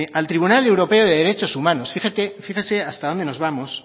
al tribunal europeo de derechos humanos fíjese hasta donde nos vamos